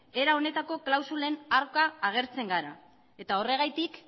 era honetako klausulen aurka agertzen gara eta horregatik